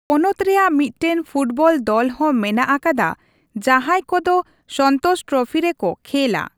ᱯᱚᱱᱚᱛ ᱨᱮᱭᱟᱜ ᱢᱤᱫᱴᱮᱱ ᱯᱷᱩᱴᱵᱚᱞ ᱫᱚᱞ ᱦᱚᱸ ᱢᱮᱱᱟᱜ ᱟᱠᱟᱫᱟ ᱡᱟᱦᱟᱸᱭ ᱠᱚᱫᱚ ᱥᱚᱱᱛᱳᱥ ᱴᱨᱚᱯᱷᱤ ᱨᱮᱠᱚ ᱠᱷᱮᱞᱼᱟ ᱾